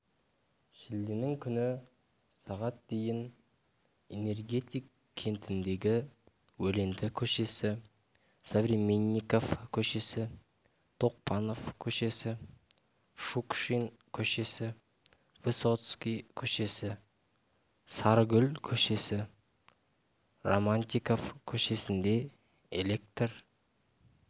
шілденің күні сағат дейін энергетик кентіндегі өленті көшесі современников көшесі тоқпанов көшесі шукшин көшесі высотский көшесі сарыгүл көшесі романтиков көшесінде электр